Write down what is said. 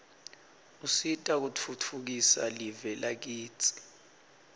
usita kutfutfukisa live lakitsi